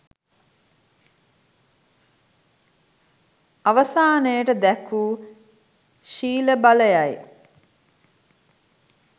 අවසානයට දැක් වූ ශීල බලයයි.